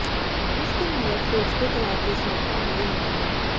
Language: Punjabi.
ਕੁਝ ਦੇ ਮਾਲਕ ਸੋਚਦੇ ਤਲਾਬ ਦੀ ਸਮਰੱਥਾ ਨੂੰ ਵੀ ਨਿਮਰ ਹੈ